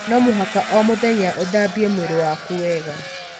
No mũhaka o mũthenya ũthambie mwĩrĩ waku wega .